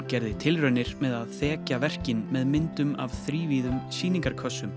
gera tilraunir með að þekja verkin með myndum af þrívíðum